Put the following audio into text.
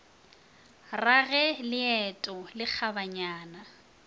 ra ge leeto le kgabaganya